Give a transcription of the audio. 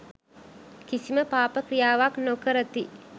කිසිම පාප ක්‍රියාවක් නො කරති